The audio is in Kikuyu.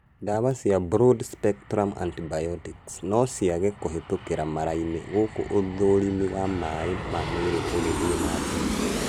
Ndawa cia Broad spectrum antibiotics no ciage kũhĩtũkĩra mara-inĩ gũkũ ũthũrimi wa maĩ ma mwĩrĩ ũgĩthiĩ na mbere